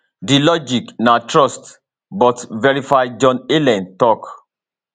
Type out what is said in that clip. di logic na trust but verify john allen tok